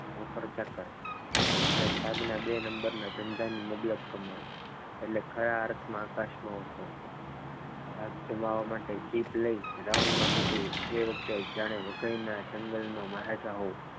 નોકર ચાકર ની સાધના બે નંબરના ધંધાની મબલખ કમાઈ એટલે ખરા અર્થમાં આકાશમાં ઉડતો હતો ધાક જમાવવા માટે જીપ લઈ round માં નીકળો એ વખતે જ્યારે વગાઈના જંગલનો મહારાજા હોવું.